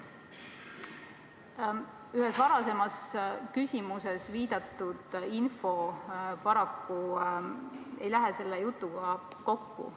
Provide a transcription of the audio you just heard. Paraku ühes varasemas küsimuses viidatud info ei lähe selle jutuga kokku.